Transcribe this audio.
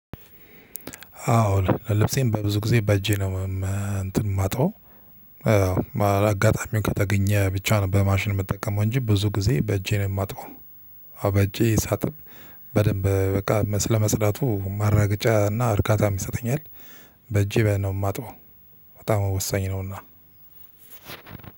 አዎ ልብሴን በብዙ ጊዜ በእጄ ነው እንትን ማጥበው አጋጣሚውን ከተገኘ ብቻ ነው በማሽን የምጠቀመው እንጂ ብዙ ጊዜ በእጄ ነው ማጥበው አዎ በእጄ ሳጥብ በደንብ በቃ ስለመፅዳቱ ማረጋገጫ እና እርካታም ይሰጠኛል። በእጄ በ ነው የማጥበው በጣም ወሳኝ ነውና።